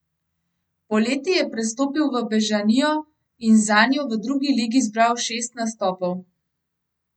Poleti je prestopil v Bežanijo in zanjo v drugi ligi zbral šest nastopov.